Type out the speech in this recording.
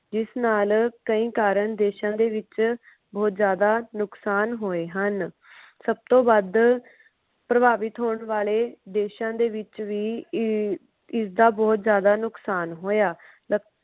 ਜਿਸ ਨਾਲ ਕਈ ਕਾਰਨ ਦੇਸ਼ਾਂ ਦੇ ਵਿੱਚ ਬੋਹਤ ਜਿਆਦਾ ਨੁਕਸਾਨ ਹੋਏ ਹਨ। ਸਬ ਤੋਂ ਵੱਧ ਪ੍ਰਭਾਭੀਤ ਹੋਣ ਵਾਲੇ ਦੇਸ਼ਾਂ ਦੇ ਵਿਚ ਹੀ ਇਸਇਸਦਾ ਬੋਹਤ ਜਿਆਦਾ ਨੁਕਸਾਨ ਹੋਇਆ।